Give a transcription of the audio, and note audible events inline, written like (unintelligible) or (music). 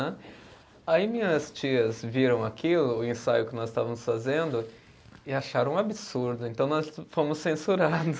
(unintelligible) Aí minhas tias viram aquilo, o ensaio que nós estávamos fazendo, e acharam um absurdo, então nós fomos censurados.